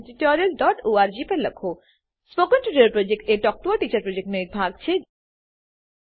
spoken tutorial project talk to a teacher પ્રોજેક્ટનો એક ભાગ છે